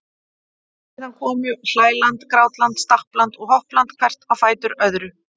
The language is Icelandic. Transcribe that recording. Síðan komu hlæland, grátland, stappland og hoppland hvert á fætur öðru.